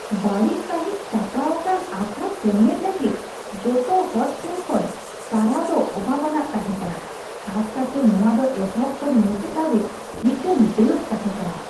ᱵᱟᱹᱲᱤᱡ ᱥᱟᱹᱦᱤᱡ ᱥᱟᱯᱲᱟᱣ ᱟᱠᱟᱱ ᱟᱠᱷᱲᱟ ᱥᱮᱢᱞᱮᱫ ᱞᱟᱹᱜᱤᱫ ᱡᱚᱛᱚ ᱦᱚᱲ ᱴᱷᱮᱱ ᱠᱷᱚᱱ ᱥᱟᱨᱦᱟᱣ ᱫᱚ ᱚᱵᱷᱟᱵᱽ ᱟᱱᱟᱜ ᱛᱟᱦᱮᱸ ᱠᱟᱱᱟ, ᱠᱷᱟᱥ ᱠᱟᱨᱛᱮ ᱱᱚᱶᱟ ᱫᱚ ᱮᱛᱚᱦᱚᱵ ᱠᱷᱚᱱ ᱢᱩᱪᱟᱹᱫ ᱫᱷᱟᱹᱵᱤᱡ ᱢᱤᱫᱴᱟᱝ ᱫᱟᱹᱵ ᱛᱟᱦᱮᱸ ᱠᱟᱱᱟ ᱾